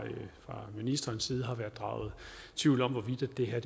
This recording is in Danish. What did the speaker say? ministerens side har været draget tvivl om hvorvidt det her